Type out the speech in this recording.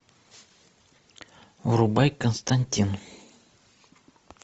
врубай константин